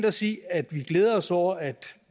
os i at glæde os over at